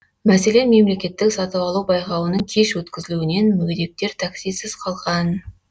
мәселен мемлекеттік сатып алу байқауының кеш өткізілуінен мүгедектер таксисіз қалған